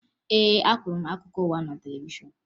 Ee, ahụrụ m akụkọ ụwa ahụ na televishọn